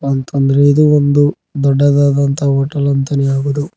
ಅಂತ ಅಂದ್ರೆ ಇದು ಒಂದು ದೊಡ್ಡದಾದ ಹೋಟೆಲ್ ಎಂದೇ ಹೇಳಬಹುದು.